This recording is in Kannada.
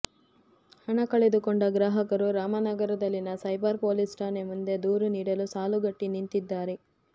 ಹಣ ಕಳೆದುಕೊಂಡ ಗ್ರಾಹಕರು ರಾಮನಗರದಲ್ಲಿನ ಸೈಬರ್ ಪೊಲೀಸ್ ಠಾಣೆ ಮುಂದೆ ದೂರು ನೀಡಲು ಸಾಲುಗಟ್ಟಿ ನಿಂತಿದ್ದಾರೆ